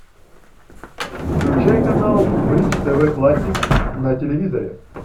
включай канал бридж тв классик на телевизоре